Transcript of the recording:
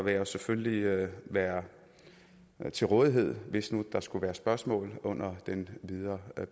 vil jeg selvfølgelig være til rådighed hvis der skulle være spørgsmål under den videre